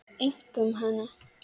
Einkum hana.